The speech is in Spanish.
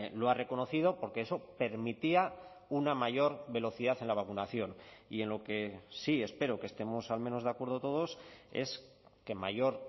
lo ha reconocido porque eso permitía una mayor velocidad en la vacunación y en lo que sí espero que estemos al menos de acuerdo todos es que mayor